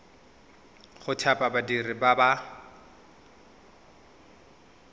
go thapa badiri ba ba